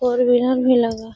भी लगा --